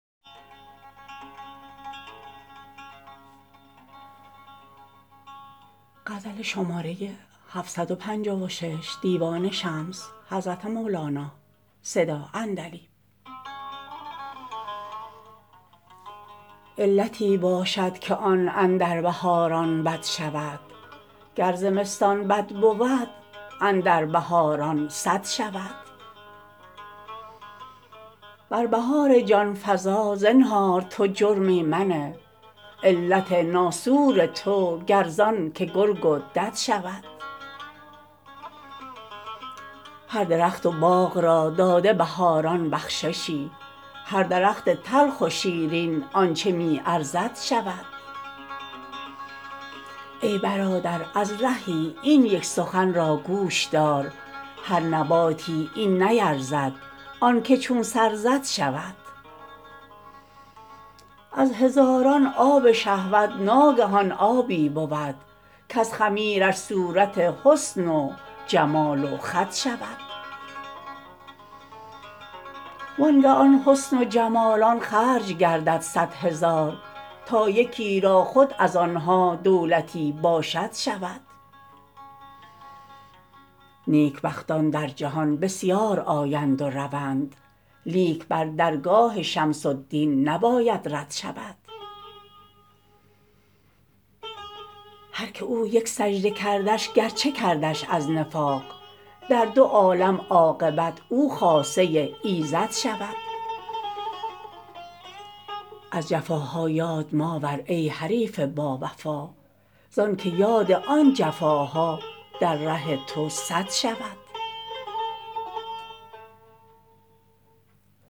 علتی باشد که آن اندر بهاران بد شود گر زمستان بد بود اندر بهاران صد شود بر بهار جان فزا زنهار تو جرمی منه علت ناصور تو گر زانک گرگ و دد شود هر درخت و باغ را داده بهاران بخششی هر درخت تلخ و شیرین آنچ می ارزد شود ای برادر از رهی این یک سخن را گوش دار هر نباتی این نیرزد آنک چون سر زد شود از هزاران آب شهوت ناگهان آبی بود کز خمیرش صورت حسن و جمال و خد شود وانگه آن حسن و جمالان خرج گردد صد هزار تا یکی را خود از آن ها دولتی باشد شود نیکبختان در جهان بسیار آیند و روند لیک بر درگاه شمس الدین نباید رد شود هر که او یک سجده کردش گرچه کردش از نفاق در دو عالم عاقبت او خاصه ایزد شود از جفاها یاد ماور ای حریف باوفا زانک یاد آن جفاها در ره تو سد شود